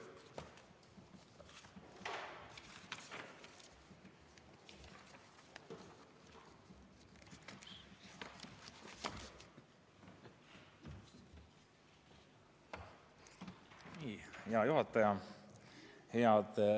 Hea juhataja!